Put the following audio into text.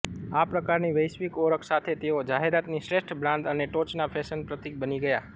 આ પ્રકારની વૈશ્વિક ઓળખ સાથે તેઓ જાહેરાતની શ્રેષ્ઠ બ્રાન્ડ અને ટોચના ફેશન પ્રતિક બની ગયા